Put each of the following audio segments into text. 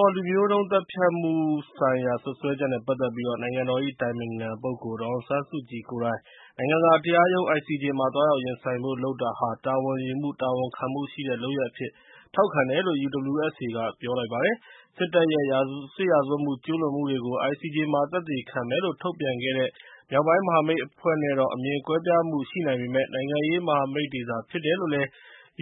ေါ် လူမျိုးတုံးသတ်ဖြတ်မှုဆိုင်ရာ စွပ်စွဲချက်အပေါ် နိုင်ငံတော်၏ အတိုင်ပင်ခံပုဂ္ဂိုလ် ဒေါ်အောင်ဆန်းစုကြည်ကိုယ်တိုင် နိုင်ငံတကာတရားရုံး မှာ သွားရောက်ရင်ဆိုင်ဖို့ လုပ်တာဟာ တာဝန်ယူမှု တာဝန်ခံမှုရှိတဲ့ လုပ်ရပ်အဖြစ် ထောက်ခံတယ်လို့ UWSA က ပြောဆိုလိုက်ပါတယ်။ စစ်တပ်ရဲ့ စစ်ရာဇဝတ်မှု ကျူးလွန်မှုတွေကို ICJ မှာ သက်သေခံမယ်လို့ ထုတ်ပြန်ခဲ့တဲ့ မြောက်ပိုင်းမဟာမိတ်အဖွဲ့နဲ့တော့ အမြင်ကွဲပြားမှု ရှိနိုင်ပေမယ့် နိုင်ငံရေးမဟာမိတ်တွေသာ ဖြစ်တယ်လို့လည်း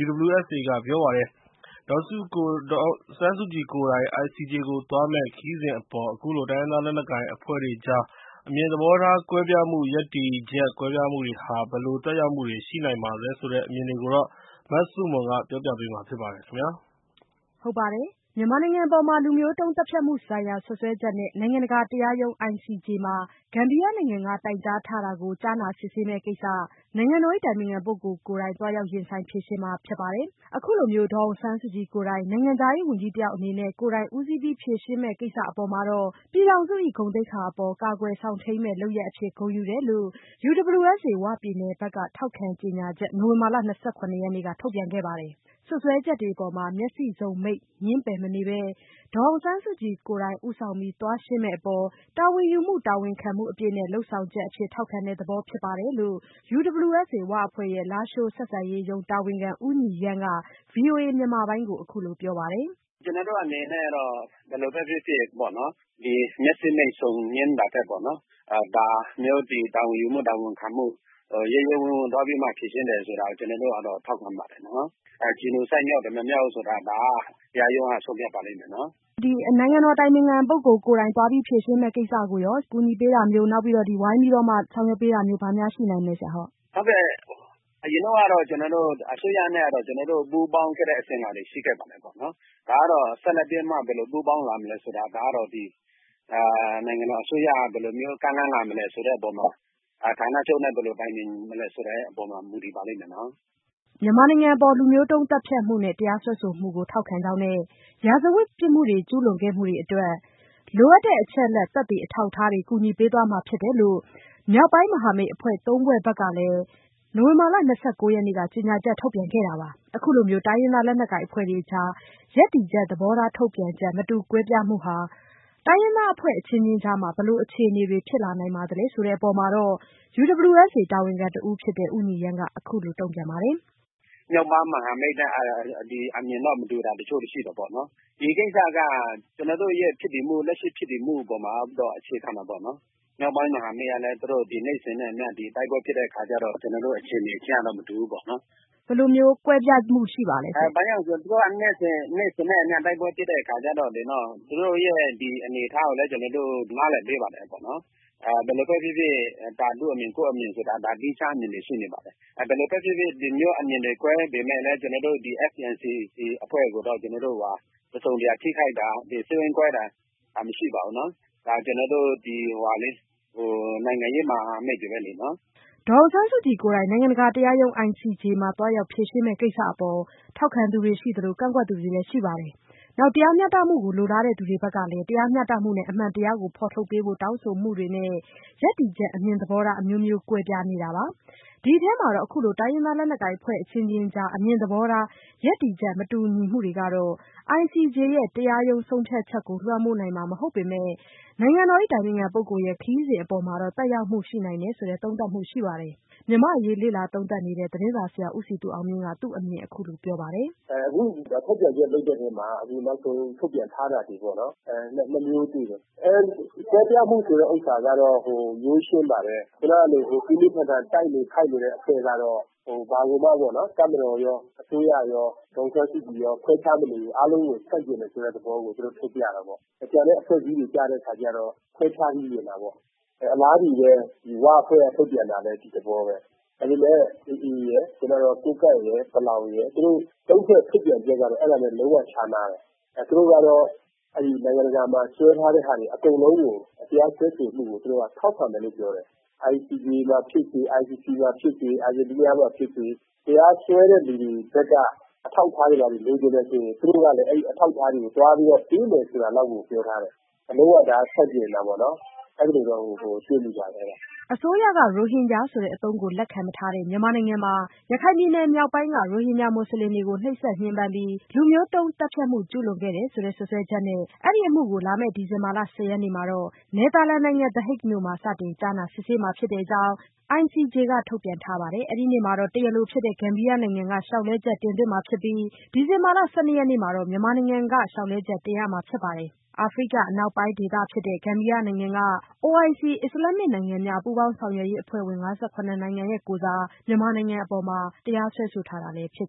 UWSA က ပြောပါတယ်။ ဒေါ်အောင်ဆန်းစုကြည်ကိုယ်တိုင် ICJ ကိုသွားမယ့် ခရီးစဉ်အပေါ် အခုလို တိုင်းရင်းသား လက်နက်ကိုင်အဖွဲ့တွေကြား အမြင်သဘောထား ကွဲပြားမှု ရပ်တည်ချက် ကွာခြားမှုတွေဟာ ဘယ်လိုသက်ရောက်မှုတွေ ရှိနိုင်ပါသလဲဆိုတဲ့ အမြင်တွေကို မဆုမွန်က မေးမြန်းတင်ပြထားပါတယ်။ မြန်မာနိုင်ငံအပေါ် လူမျိုးတုံးသတ်ဖြတ်မှုဆိုင်ရာ စွပ်စွဲချက်နဲ့ နိုင်ငံတကာတရားရုံး ICJ မှာ ဂမ်ဘီယာနိုင်ငံက တိုင်ကြားထားတာကို ကြားနာစစ်ဆေးမယ့်ကိစ္စ နိုင်ငံတော်၏ အတိုင်ပင်ခံပုဂ္ဂိုလ်ကိုယ်တိုင် သွားရောက်ရင်ဆိုင်ဖြေရှင်းမှာ ဖြစ်ပါတယ်။ အခုလို ဒေါ်အောင်ဆန်းစုကြည်ကိုယ်တိုင် နိုင်ငံခြားရေးဝန်ကြီးတယောက် အနေနဲ့ ကိုယ်တိုင်ဦးစီးပြီး ဖြေရှင်းမယ့်ကိစ္စအပေါ် ပြည်ထောင်စု၏ ဂုဏ်သိက္ခာအပေါ် ကာကွယ်စောင့်ထိန်းမည့် လုပ်ရပ်အဖြစ် ဂုဏ်ယူတယ်လို့ UWSA ဝပြည်နယ်ဘက်က ထောက်ခံကြေညာချက် နိုဝင်ဘာလ ၂၇ ရက်နေ့က ထုတ်ပြန်ခဲ့ပါတယ်။ စွပ်စွဲချက်တွေအပေါ် မျက်စိစုံမှိတ် ငြင်းပယ်မနေဘဲ ဒေါ်အောင်ဆန်းစုကြည်ကိုယ်တိုင် ဦးဆောင်ပြီး သွားရှင်းမယ့်အပေါ် တာဝန်ယူမှု တာဝန်ခံမှုအပြည့်နဲ့ လုပ်ဆောင်ချက်အဖြစ် ထောက်ခံတဲ့သဘော ဖြစ်ပါတယ်လို့ UWSA ဝအဖွဲ့ရဲ့ လားရှိုးဆက်ဆံရေးရုံး တာဝန်ခံ ဦးညီရန်းက ဗွီအိုအေမြန်မာပိုင်းကို အခုလိုပြောပါတယ်။ “ကျနော်တို့အနေနဲ့ ဘယ်လိုပဲဖြစ်ဖြစ် မျက်စိမှိတ်ငြင်းတာထက် ဒါမျိုး တာဝန်ယူမှု၊ တာဝန်ခံမှု ရဲရဲဝံ့ဝံ့ သွားပြီးမှ ဖြေရှင်းတယ်ဆိုတာတော့ ထောက်ခံပါတယ်။ Genocide မြောက်တယ်၊ မမြောက်ဘူးဆိုတာ ဒါက တရားရုံးက ဆုံးဖြတ်ပါလိမ့်မယ်။” မဆုမွန် - နိုင်ငံတော်အတိုင်ပင်ခံပုဂ္ဂိုလ် ကိုယ်တိုင် သွားပြီး ဖြေရှင်းမယ့်ကိစ္စကိုရော ကူညီပေးတာမျိုး၊ ဝိုင်းပြီးတော့ ဆောင်ရွက်ပေးတာမျိုး ဘာများရှိနိုင်မလဲ။ ဦးညီရန်း - “အရင်တုန်းကတော့ ကျနော်တို့ အစိုးရနဲ့ ပူးပေါင်းခဲ့တဲ့ အစဉ်အလာတွေ ရှိခဲ့ပါတယ်။ ဆက်လက်ပြီးတော့ ဘယ်လိုပူးပေါင်းမလဲဆိုတာ ဒါကတော့ နိုင်ငံတော်အစိုးရက ဘယ်လိုမျိုး ကမ်းလှမ်းလာမလဲ ဆိုတဲ့အပေါ်မှာ ဌာနချုပ်နဲ့ ဘယ်လိုတိုင်ပင်မလဲ ဆိုတဲ့အပေါ်မှာ မူတည်ပါလိမ့်မယ်။” ICJ နိုင်ငံတကာ တရားရုံးမှာ မြန်မာနိုင်ငံအပေါ် လူမျိုးတုံးသတ်ဖြတ်မှုနဲ့ တရားစွဲဆိုမှုကို ထောက်ခံကြောင်းနဲ့ စစ်ရာဇဝတ်မှု ကျူးလွန်ခဲ့မှုတွေအတွက် လိုအပ်တဲ့ အချက်အလက် သက်သေအထောက်အထားတွေ ကူညီပေးသွားမှာ ဖြစ်တယ်လို့ မြောက်ပိုင်းမဟာမိတ်အဖွဲ့ဝင် ၃ ဖွဲ့ကလည်း နိုဝင်ဘာလ ၂၉ ရက်က ကြေညာချက် ထုတ်ထားတာပါ။ အခုလို တိုင်းရင်းသား လက်နက်ကိုင်အဖွဲ့တွေကြား ရပ်တည်ချက် သဘောထား ထုတ်ပြန်ချက် မတူကွဲပြားမှုဟာ အဖွဲ့အချင်းချင်းကြား ဘယ်လိုအခြေအနေတွေ ဖြစ်လာနိုင်သလဲ ဆိုတဲ့အပေါ် UWSA တာဝန်ခံတဦးဖြစ်တဲ့ ဦးညီရန်းက အခုလိုပြောပါတယ်။ “မြောက်ပိုင်း မဟာမိတ်တပ်နဲ့ အမြင်မတူတာတချို့တော့ ရှိတယ်။ ဒီကိစ္စက ကျနော်တို့ရဲ့ လက်ရှိဖြစ်တည်မှုအပေါ်မှာ သွားပြီးတော့ အခြေခံတာပေါ့။ မြောက်ပိုင်းမဟာမိတ်ကလည်း သူတို့ နေ့စဉ်နဲ့အမျှ တိုက်ပွဲဖြစ်တဲ့အခါကျတော့ ကျနော်တို့ အခြေအနေချင်းကတော့ မတူဘူးပေါ့။” မဆုမွန် - ဘယ်လိုမျိုး ကွဲပြားမှုရှိပါသလဲရှင့်။ ဦးညီရန်း - “သူတို့က နေ့စဉ်နဲ့အမျှ တိုက်ပွဲဖြစ်တဲ့အခါကျတော့ သူတို့ရဲ့ အနေအထားကိုလည်း ကျနော်တို့ နားလည်ပေးပါတယ်။ ဘယ်လိုပဲဖြစ်ဖြစ် သူ့အမြင် ကိုယ့်အမြင်ဆိုတာ သီးခြားအမြင်တွေ ရှိနေပါတယ်။ ဒီလိုမျိုး အမြင်တွေ ကွဲပေမယ့်လည်း ဒီ FPNCC အဖွဲ့ကိုတော့ ကျနော်တို့က တစုံတရာ ထိခိုက်တာ စိတ်ဝမ်းကွဲတာ မရှိပါဘူး။ ကျနော်တို့ နိုင်ငံရေးမဟာမိတ်တွေပဲလေ။” ဒေါ်အောင်ဆန်းစုကြည်ကိုယ်တိုင် နိုင်ငံတကာတရားရုံး ICJ ကို သွားရောက်ဖြေရှင်းမယ့် ကိစ္စအပေါ် ထောက်ခံသူတွေရှိသလို ကန့်ကွက်သူတွေလည်း ရှိပါတယ်။ နောက် တရားမျှတမှုကို လိုလားသူတွေဘက်ကလည်း တရားမျှတမှုနဲ့ အမှန်တရားကို ဖော်ထုတ်ပေးဖို့ တောင်းဆိုမှုတွေနဲ့ ရပ်တည်ချက် အမြင်သဘောထား အမျိုးမျိုး ကွဲပြားနေတာပါ။ ဒီအထဲမှာတော့ အခုလို တိုင်းရင်းသားလက်နက်ကိုင်အဖွဲ့ အချင်းချင်းကြား အမြင်သဘောထား ရပ်တည်ချက် မတူညီမှုတွေကတော့ ICJ ရဲ့ တရားရုံး ဆုံးဖြတ်ချက်ကို လွှမ်းမိုးနိုင်မှာ မဟုတ်ပေမယ့်လို့ နိုင်ငံတော်အတိုင်ပင်ခံရဲ့ ခရီးစဉ်အပေါ်မှာတော့ သက်ရောက်မှု ရှိနိုင်တယ်ဆိုတဲ့ သုံးသပ်မှုရှိပါတယ်။ မြန်မာ့အရေး လေ့လာသုံးသပ်နေတဲ့ သတင်းစာဆရာ ဦးစည်သူအောင်မြင့်က သူ့အမြင်ကို အခုလိုပြောပါတယ်။ “အခုထုတ်ပြန်ချက် လုပ်တဲ့အပေါ်မှာ နောက်ဆုံးထုတ်ပြန်ထားတာတွေ နှစ်မျိုးတွေ့တယ်။ ကွဲပြားမှုဆိုတဲ့ဟာကတော့ ရိုးရှင်းပါတယ်။ ခုနလို ပြင်းပြင်းထန်ထန် တိုက်နေခိုက်နေတဲ့ အဖွဲ့ကတော့ တပ်မတော်ရော အစိုးရရော ဒေါ်အောင်ဆန်းစုကြည်ရော ခွဲခြားမနေဘူး။ အားလုံးကို ဆန့်ကျင်တယ်ဆိုတဲ့သဘော ထုတ်ပြတာပေါ့။ ကျန်တဲ့ အဖွဲ့အစည်းတွေကတော့ ခွဲခြားပြီးမြင်တာပေါ့။ အလားတူပဲ ဝအဖွဲ့က ထုတ်ပြန်တာလည်း ဒီသဘောပဲ။ အခုလည်း AA ရယ်၊ ကိုးကန့်ရယ်၊ ပလောင်ရယ် သူတို့သုံးဖွဲ့ ထုတ်ပြန်ချက်ကတော့ လုံးဝခြားနားတယ်။ သူတို့ကတော့ နိုင်ငံတကာမှာ စွဲထားတဲ့ဟာတွေ အကုန်လုံးကို တရားစွဲဆိုမှုကို ထောက်ခံတယ်လို့ ပြောတယ်။ ICJ မှာဖြစ်စေ၊ ICC မှာဖြစ်စေ၊ အာဂျင်တီးနားမှာဖြစ်စေ တရားစွဲတဲ့လူတွေဘက်က အထောက်အထားတွေ ဘာတွေ လိုချင်တယ်ဆိုရင် သူတို့ကလည်း အဲဒီအထောက်အထားတွေ သွားပြီးပေးမယ် ဆိုတာလောက်ကို ပြောထားတယ်။ ဒါ လုံးဝ ဆန့်ကျင်တာပေါ့၊ အဲလိုတော့ တွေ့မိတယ်။” အစိုးရက ရိုဟင်ဂျာဆိုတဲ့ အသုံးကို လက်ခံမထားတဲ့ မြန်မာနိုင်ငံမှာ ရခိုင်ပြည်နယ်မြောက်ပိုင်းက ရိုဟင်ဂျာ မွတ်စလင်တွေကို နှိပ်စက်ညှဉ်းပန်းပြီး လူမျိုးတုံးသတ်ဖြတ်မှု ကျူးလွန်ခဲ့တယ်ဆိုတဲ့ စွပ်စွဲချက်နဲ့ အဲဒီအမှုကို လာမယ့် ဒီဇင်ဘာ ၁၀ ရက်နေ့မှာ နယ်သာလန်နိုင်ငံ The Hague မြို့မှာ စတင်ကြားနာစစ်ဆေးမှာ ဖြစ်တဲ့အကြောင်း ICJ က ထုတ်ပြန်ထားပါတယ်။ အဲဒီနေ့မှာ တရားလိုဖြစ်တဲ့ ဂမ်ဘီယာနိုင်ငံက လျှောက်လဲချက် တင်သွင်းမှာဖြစ်ပြီး ဒီဇင်ဘာ ၁၁ ရက်နေ့မှာ မြန်မာနိုင်ငံက ICJ မှာ လျှောက်လဲချက် တင်ရမှာဖြစ်ပါတယ်။ အာဖရိက အနောက်ပိုင်းဒေသမှာရှိတဲ့ ဂမ်ဘီယာနိုင်ငံက OIC အစ္စလာမ္မစ်နိုင်ငံများ ပူးပေါင်းဆောင်ရွက်ရေးအဖွဲ့ဝင် ၅၇ နိုင်ငံကိုယ်စား မြန်မာနိုင်ငံအပေါ် တရားစွဲဆိုထားတာ ဖြစ်